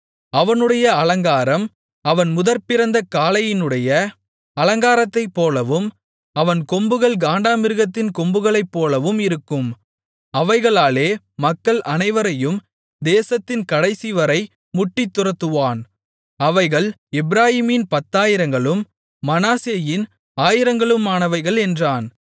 அவனுடைய அலங்காரம் அவன் முதற்பிறந்த காளையினுடைய அலங்காரத்தைப்போலவும் அவன் கொம்புகள் காண்டாமிருகத்தின் கொம்புகளைப்போலவும் இருக்கும் அவைகளாலே மக்கள் அனைவரையும் தேசத்தின் கடைசிவரை முட்டித் துரத்துவான் அவைகள் எப்பிராயீமின் பத்தாயிரங்களும் மனாசேயின் ஆயிரங்களுமானவைகள் என்றான்